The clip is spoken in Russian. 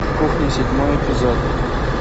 кухня седьмой эпизод